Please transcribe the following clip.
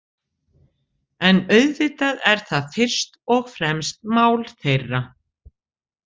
En auðvitað er það fyrst og fremst mál þeirra.